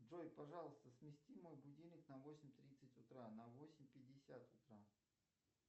джой пожалуйста смести мой будильник на восемь тридцать утра на восемь пятьдесят утра